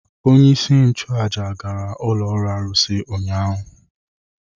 Onyeisi nchụaja gara ụlọ arụsị ọhụrụ ụnyaahụ.